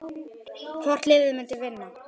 Hvort liðið myndi vinna?